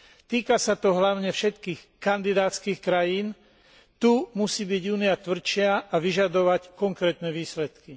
Týka sa to hlavne všetkých kandidátskych krajín tu musí byť Únia tvrdšia a vyžadovať konkrétne výsledky.